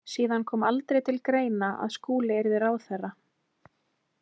Síðan kom aldrei til greina að Skúli yrði ráðherra.